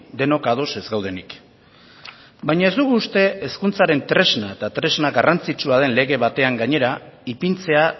denok ados ez gaudenik baina ez dugu uste hezkuntzaren tresna eta tresna garrantzitsua den lege batean gainera ipintzea